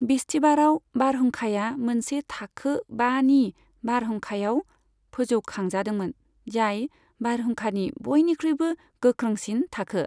बिस्तिबाराव बारहुंखाया मोनसे थाखो बानि बारहुंखायाव फोजौखांजादोंमोन, जाय बारहुंखानि बयनिख्रुइबो गोख्रोंसिन थाखो।